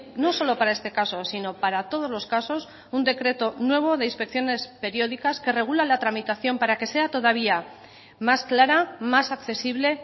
no solo para este caso sino para todos los casos un decreto nuevo de inspecciones periódicas que regula la tramitación para que sea todavía más clara más accesible